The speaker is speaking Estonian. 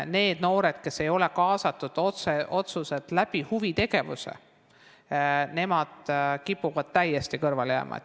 Need noored, kes ei ole kaasatud otseselt huvitegevusse, kipuvad täiesti kõrvale jääma.